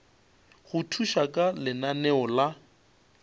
go thuša ka lenaneo la